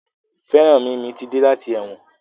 Feranmi mí ti dé láti èwòn.